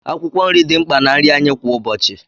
Akwụkwọ nri dị mkpa na nri anyị kwa ụbọchị.